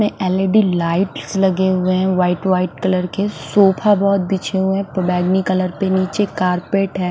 में L_ E_ D lights लगे हुए हैं व्हाईट व्हाईट कलर के सोफा बहुत बिछे हुए नीचे बैंगनी कलर में नीचे कार्पेट है।